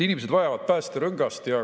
Inimesed vajavad päästerõngast.